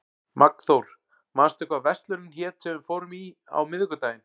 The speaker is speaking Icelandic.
Magnþór, manstu hvað verslunin hét sem við fórum í á miðvikudaginn?